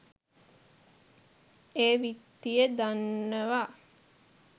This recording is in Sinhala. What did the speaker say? ඒ විත්තිය දන්නවා.